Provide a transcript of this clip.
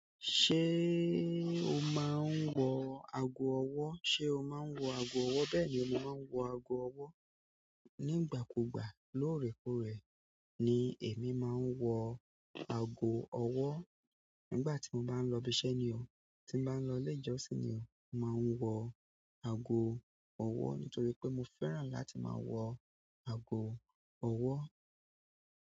Ṣé o máa ń wọ ago ọwọ́? Ṣé o máa ń wọ ago ọwọ́? Bẹ́ẹ̀ ni, mo máa ń wọ ago ọwọ́. Nígbà kúgbà, lóòrèkóòrè ni èmi máa ń wọ ago ọwọ́. Nígbà tí mo bá ń lọ ibiṣẹ́ ni o, tí bá ń lọ ilé ìjọsìn ni o, máa ń wọ ago ọwọ́ nítorí pé mo fẹ́ràn láti máa wọ ago ọwọ́.